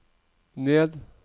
ned